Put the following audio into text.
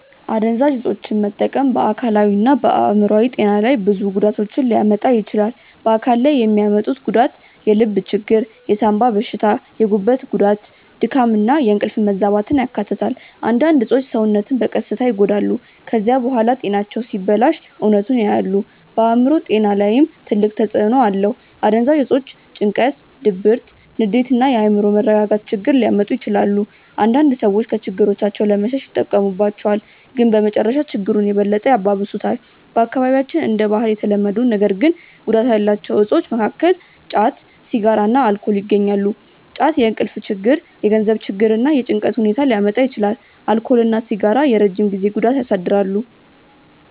አደንዛዥ እፆችን መጠቀም በአካላዊና በአእምሮአዊ ጤና ላይ ብዙ ጉዳቶችን ሊያመጣ ይችላል። በአካል ላይ የሚያመጡት ጉዳት የልብ ችግር፣ የሳንባ በሽታ፣ የጉበት ጉዳት፣ ድካም እና የእንቅልፍ መዛባትን ያካትታል። አንዳንድ እፆች ሰውነትን በቀስታ ይጎዳሉ። ከዚያ በኋላ ጤናቸው ሲበላሽ እውነቱን ያያሉ። በአእምሮ ጤና ላይም ትልቅ ተጽእኖ አለው። አደንዛዥ እፆች ጭንቀት፣ ድብርት፣ ንዴት እና የአእምሮ መረጋጋት ችግር ሊያመጡ ይችላሉ። አንዳንድ ሰዎች ከችግሮቻቸው ለመሸሽ ይጠቀሙባቸዋል፣ ግን በመጨረሻ ችግሩን የበለጠ ያባብሱታል። በአካባቢያችን እንደ ባህል የተለመዱ ነገር ግን ጉዳት ያላቸው እፆች መካከል ጫት፣ ሲጋራ እና አልኮል ይገኛሉ። ጫት የእንቅልፍ ችግር፣ የገንዘብ ችግር እና የጭንቀት ሁኔታ ሊያመጣ ይችላል። አልኮል እና ሲጋራ የረጅም ጊዜ ጉዳት ያሳድራሉ።